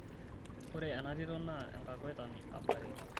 ore ena tito naa enkakuetani aboriki